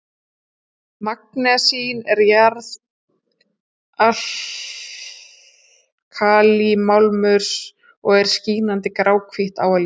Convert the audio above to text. Magnesín er jarðalkalímálmur og er skínandi gráhvítt á að líta.